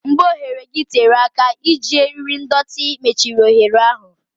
Mgbe oghere gị tere aka, iji eriri ndọtị mechiri oghere ahụ.